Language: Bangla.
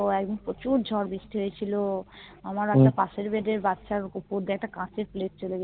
তো একদিন প্রচুর ঝড় বৃষ্টি হয়েছিল আমার একটা পাশের bed এর বাচ্চার ওপর দিয়ে একটা কাছের Plate চলে গেলো